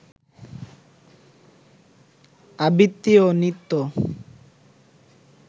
আবৃত্তি ও নৃত্য